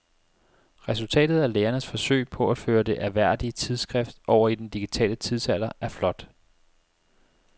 Resultatet af lægernes forsøg på at føre det ærværdige tidsskrift over i den digitale tidsalder er flot.